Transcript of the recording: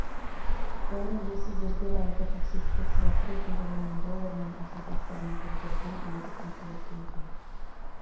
оның иесі зергер әлгі таксистке сыйақы ретінде он мың доллар мен асыл тастармен көмкерілген білезік тарту еткен екен